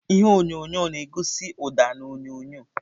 Ihe onyonyo onyonyo na-egosi ụda na onyonyo.